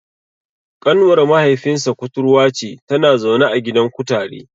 Ƙanwar mahaifinsa kuturwa ce, tana zaune a gidan kutare.